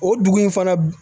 O dugu in fana